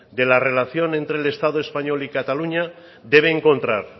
de la relación entre el estado español y cataluña debe encontrar